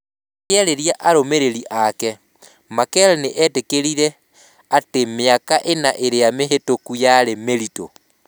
Akĩarĩria arũmĩrĩri ake, Merkel nĩ eetĩkĩrire atĩ mĩaka ĩna ĩrĩa mĩhĩtũku yarĩ mĩritũ.